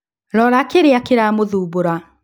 Rora kĩrĩa kĩramũthumbũra